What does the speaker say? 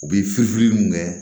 U bɛ fili fili mun kɛ